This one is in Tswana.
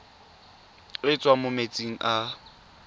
e tswang mo metsing a